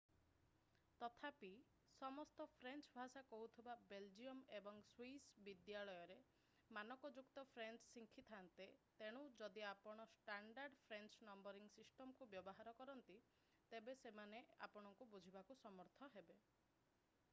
ତଥାପି ସମସ୍ତ ଫ୍ରେଞ୍ଚ ଭାଷା କହୁଥିବା ବେଲଜିୟମ୍ ଏବଂ ସ୍ଵିସ୍ ବିଦ୍ୟାଳୟରେ ମାନକଯୁକ୍ତ ଫ୍ରେଞ୍ଚ ଶିଖିଥାନ୍ତେ ତେଣୁ ଯଦି ଆପଣ ଷ୍ଟାଣ୍ଡାର୍ଡ଼ ଫ୍ରେଞ୍ଚ ନମ୍ବରିଂ ସିଷ୍ଟମକୁ ବ୍ୟବହାର କରନ୍ତି ତେବେ ସେମାନେ ଆପଣଙ୍କୁ ବୁଝିବାକୁ ସମର୍ଥ ହେବେ